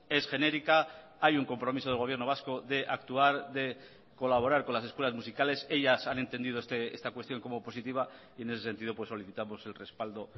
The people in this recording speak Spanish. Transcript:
es genérica hay un compromiso del gobierno vasco de actuar de colaborar con las escuelas musicales ellas han entendido esta cuestión como positiva y en ese sentido solicitamos el respaldo